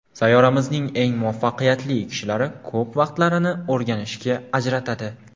Sayyoramizning eng muvaffaqiyatli kishilari ko‘p vaqtlarini o‘rganishga ajratadi.